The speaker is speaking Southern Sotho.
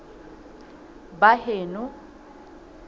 baheno